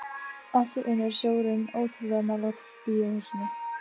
Allt í einu er sjórinn ótrúlega nálægt bíóhúsinu.